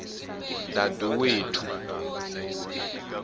daduwethu